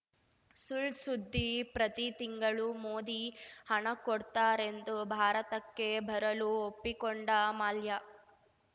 ಸುಳ್‌ ಸುದ್ದಿ ಪ್ರತಿ ತಿಂಗಳೂ ಮೋದಿ ಹಣ ಕೊಡ್ತಾರೆಂದು ಭಾರತಕ್ಕೆ ಬರಲು ಒಪ್ಪಿಕೊಂಡ ಮಲ್ಯ